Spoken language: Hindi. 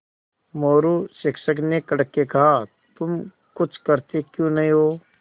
मोरू शिक्षक ने कड़क के कहा तुम कुछ करते क्यों नहीं हो